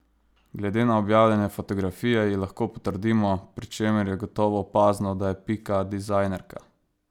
Glede na objavljene fotografije ji lahko pritrdimo, pri čemer je gotovo opazno, da je Pika dizajnerka.